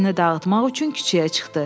Fikrini dağıtmaq üçün küçəyə çıxdı.